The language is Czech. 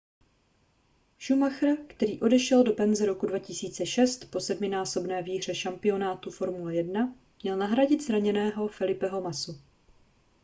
schumacher který odešel do penze roku 2006 po sedminásobné výhře šampionátu formule 1 měl nahradit zraněného felipeho massu